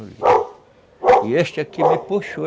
E este aqui me puxou.